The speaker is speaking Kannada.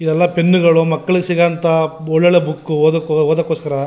ಇದೆಲ್ಲ ಪೆನ್ನುಗಳು ಮಕ್ಕಳಿಗೆ ಸಿಗುವಂಥ ಒಳ್ಳೊಳ್ಳೆ ಬುಕ್ ಓದೋಕ್ಕೋಸ್ಕರ.